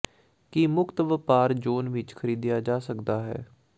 ਕੀ ਮੁਕਤ ਵਪਾਰ ਜ਼ੋਨ ਵਿਚ ਖਰੀਦਿਆ ਜਾ ਸਕਦਾ ਹੈ